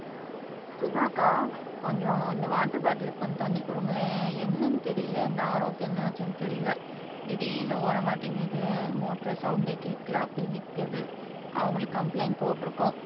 சுதா அக்கா கொஞ்சம் இந்த வாட்டர் பாட்டிலுக்கு கொஞ்சம் தண்ணி கொடுங்களேன் என்னனு தெரியல இந்த RO க்கு என்ன ஆச்சுன்னு தெரியல திடீர்னு ஓட மாட்டேங்குது மோட்டர் சவுண்டே கேட்கல அப்படியே நிக்குது அவங்களுக்கு கம்ப்ளைன்ட் போட்டுருக்கோம்